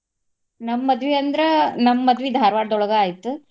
ನಮ್ಮ್ ಮದ್ವಿ ಅಂದ್ರ ನಮ್ಮ್ ಮದ್ವಿ ಧಾರ್ವಾಡ್ ದೊಳಗ ಆಯ್ತು.